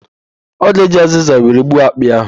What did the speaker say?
Ọ ga-eji azịza were gbuo akpị ahụ.